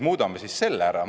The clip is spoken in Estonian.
Muudame siis selle ära!